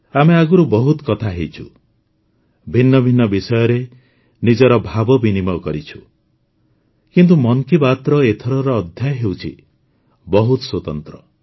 ଆମେ ଆଗରୁ ବହୁତ କଥା ହୋଇଛୁ ଭିନ୍ନ ଭିନ୍ନ ବିଷୟରେ ନିଜର ଭାବ ବିନିମୟ କରିଛୁ କିନ୍ତୁ ମନ୍ କି ବାତ୍ର ଏଥରର ଅଧ୍ୟାୟ ହେଉଛି ବହୁତ ସ୍ୱତନ୍ତ୍ର